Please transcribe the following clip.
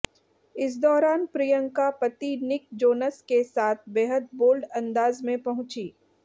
इस दौरान प्रियंका पति निक जोनस के साथ बेहद बोल्ड अंदाज में पहुंचीं